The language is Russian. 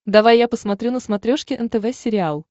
давай я посмотрю на смотрешке нтв сериал